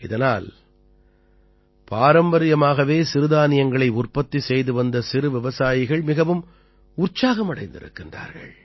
இதனால் பாரம்பரியமாகவே சிறுதானியங்களை உற்பத்தி செய்து வந்த சிறு விவசாயிகள் மிகவும் உற்சாகம் அடைந்திருக்கிறார்கள்